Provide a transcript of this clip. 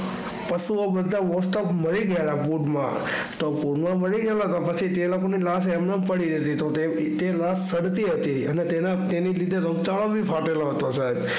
પશુ નો બધા મરી ગયેલા તો પૂર માં મારી ગયેલા પછી તે લોકો ની લાશ એમજ પડી હતી તો તે લાશ તરતી હતી તો તેની રીતે રોગચાળો પણ ફાટેલો હતો સાહેબ.